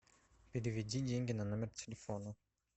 переведи деньги на номер телефона